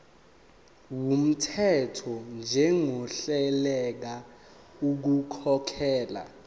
wumthetho njengohluleka ukukhokhela